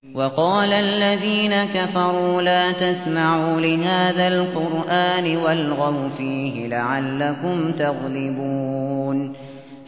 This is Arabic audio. وَقَالَ الَّذِينَ كَفَرُوا لَا تَسْمَعُوا لِهَٰذَا الْقُرْآنِ وَالْغَوْا فِيهِ لَعَلَّكُمْ تَغْلِبُونَ